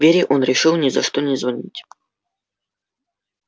вере он решил ни за что не звонить